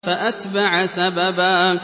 فَأَتْبَعَ سَبَبًا